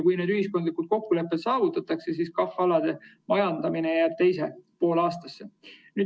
Kui need ühiskondlikud kokkulepped saavutatakse, siis KAH‑alade majandamine jääb teise poolaastasse.